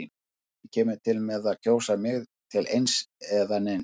Enginn kemur til með að kjósa mig til eins eða neins.